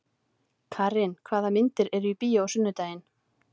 Karin, hvaða myndir eru í bíó á sunnudaginn?